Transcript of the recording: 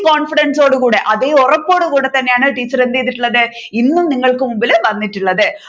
confidence ഓട് കൂടെ അതെ ഉറപ്പോടു കൂടെ തന്നെയാണ് ടീച്ചർ എന്ത് ചെയ്തിട്ടുള്ളത് ഇന്നും നിങ്ങൾക്ക് മുൻപിൽ വന്നിട്ടുള്ളത്